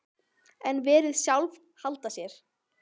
En verðin sjálf halda sér.